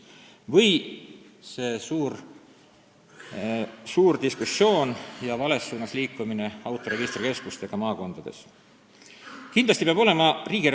Või see suur diskussioon, mis oli selle üle, kui alguses hakati autoregistrikeskuste asjus maakondades nn vales suunas liikuma.